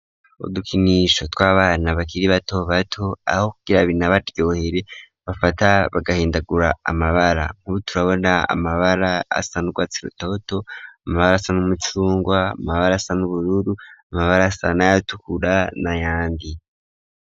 Udukinisho tw'abana bakiri bato bato ,aho kukirabina baryohere bafata bagahindagura amabara, nkubuturabona ,amabara asa n urwatsi rutoto ,amabara asa n'umucungwa ,amabara asa n'ubururu, amabara asanayatukura, na yandi.